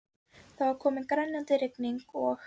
Það var komin grenjandi rigning og